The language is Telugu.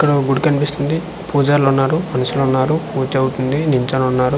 ఇక్కడ ఒక గుడి కనిపిస్తుంది పూజర్లు ఉన్నారు మనుషులు ఉన్నారు పూజ అవుతుంది నిల్చొని ఉన్నారు.